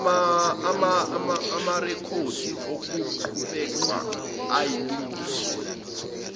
amarekhodi okuqhubeka ayalungiswa